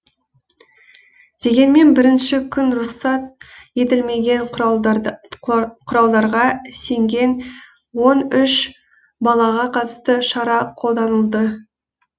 дегенмен бірінші күні рұқсат етілмеген құралдарға сенген он үш балаға қатысты шара қолданылды